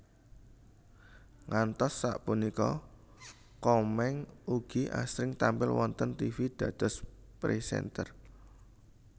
Ngantos sapunika Komeng ugi asring tampil wonten tivi dados presenter